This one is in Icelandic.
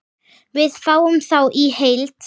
Við fáum þá í heild